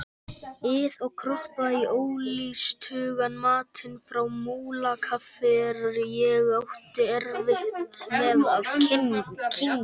ið og kroppa í ólystugan matinn frá Múlakaffi sem ég átti erfitt með að kyngja.